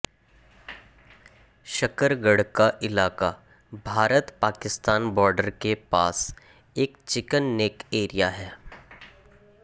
शकरगढ़ का इलाका भारत पाकिस्तान बॉर्डर के पास एक चिकेन नेक एरिया है